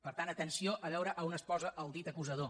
per tant atenció a veure a on es posa el dit acusador